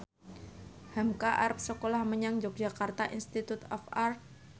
hamka arep sekolah menyang Yogyakarta Institute of Art